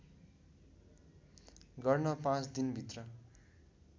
गर्न पाँच दिनभित्र